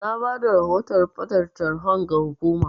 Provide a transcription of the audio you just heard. Na bada rahoton ɓatan tarhon ga hukumar.